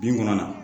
Bin kɔnna na